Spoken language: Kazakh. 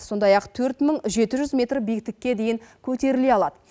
сондай ақ төрт мың жеті жүз метр биіктікке дейін көтеріле алады